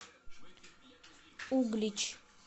углич